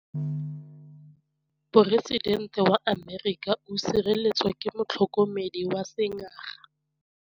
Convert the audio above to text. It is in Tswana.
Poresitêntê wa Amerika o sireletswa ke motlhokomedi wa sengaga.